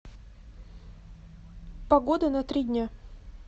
погода на три дня